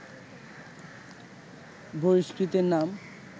বহিষ্কৃতের নাম